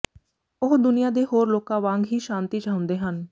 ਉਹ ਦੁਨੀਆਂ ਦੇ ਹੋਰ ਲੋਕਾਂ ਵਾਂਗ ਹੀ ਸ਼ਾਂਤੀ ਚਾਹੁੰਦੇ ਹਨ